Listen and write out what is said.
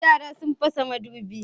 Yara sun fasa madubin